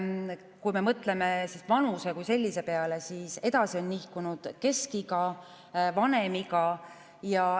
Kui me mõtleme vanuse kui sellise peale, siis edasi on nihkunud keskiga ja vanem iga.